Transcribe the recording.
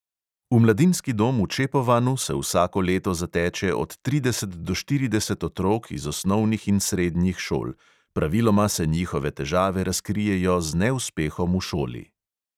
V mladinski dom v čepovanu se vsako leto zateče od trideset do štirideset otrok iz osnovnih in srednjih šol, praviloma se njihove težave razkrijejo z neuspehom v šoli.